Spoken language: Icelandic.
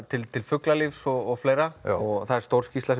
tilliti til fuglalífs og fleira það er stór skýrsla